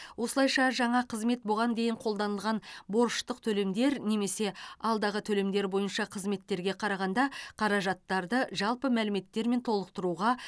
осылайша жаңа қызмет бұған дейін қолданылған борыштық төлемдер немесе алдағы төлемдер бойынша қызметтерге қарағанда қаражаттарды жалпы мәліметтермен толықтыруға